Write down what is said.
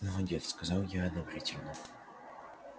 молодец сказал я одобрительно